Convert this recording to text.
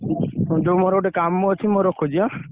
ଯୋଉ ମୋର ଗୋଟେ କାମ ଅଛି